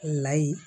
Layi